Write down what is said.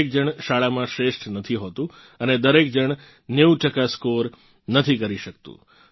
દરેક જણ શાળામાં શ્રેષ્ઠ નથી હોતું અને દરેક જણ 90 ટકા સ્કોર નથી કરી શકતું